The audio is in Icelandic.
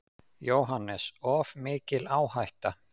JÓHANNES: Of mikil áhætta.